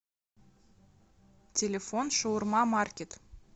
телефон шаурма маркет